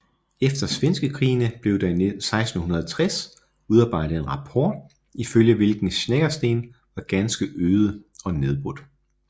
Efter svenskekrigene blev der i 1660 udarbejdet en rapport ifølge hvilken Snekkersten var ganske øde og nedbrudt